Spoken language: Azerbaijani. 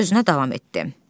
O sözünə davam etdi.